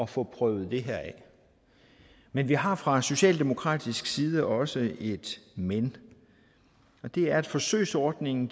få prøvet det her af men vi har fra socialdemokratisk side også et men det er at forsøgsordningen